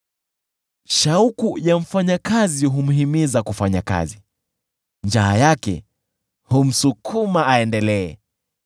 Shauku ya mfanyakazi humhimiza kufanya kazi; njaa yake humsukuma aendelee.